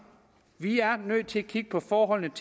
vi er nødt til at kigge på forholdene